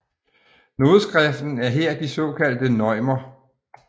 Nodeskriften er her de såkaldte neumer